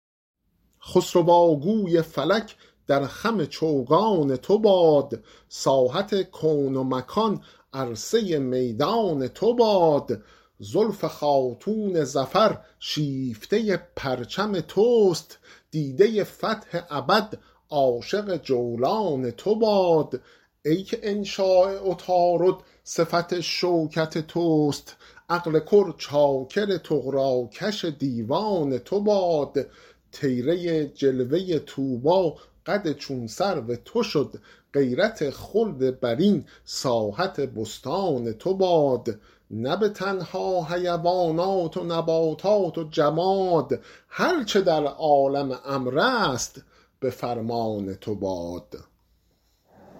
خسروا گوی فلک در خم چوگان تو باد ساحت کون و مکان عرصه میدان تو باد زلف خاتون ظفر شیفته پرچم توست دیده فتح ابد عاشق جولان تو باد ای که انشاء عطارد صفت شوکت توست عقل کل چاکر طغراکش دیوان تو باد طیره جلوه طوبی قد چون سرو تو شد غیرت خلد برین ساحت بستان تو باد نه به تنها حیوانات و نباتات و جماد هر چه در عالم امر است به فرمان تو باد